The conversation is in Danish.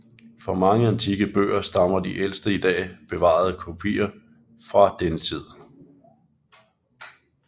For mange antikke bøger stammer de ældste i dag bevarede kopier fra denne tid